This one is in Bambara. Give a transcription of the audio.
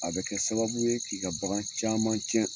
A bɛ kɛ sababu ye k'i ka bagan caman cɛn